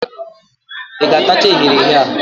Ị ga-atacha eghere eghe a?